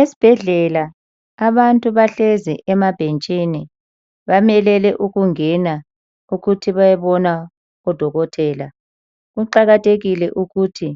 Esibhedlela abantu bahlezi emabhentshini bamelele ukungena ukuthi bayebona udokotela. Kuqakathekile ukuthi